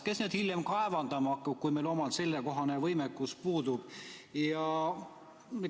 Kes neid hiljem kaevandama hakkab, kui meil omal sellekohane võimekus puudub?